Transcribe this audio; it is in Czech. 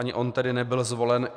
Ani on tedy nebyl zvolen.